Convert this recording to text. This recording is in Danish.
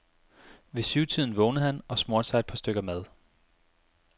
Ved syvtiden vågnede han og smurte sig et par stykker mad.